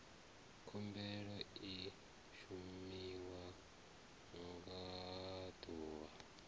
khumbelo i shumiwa nga ḓuvha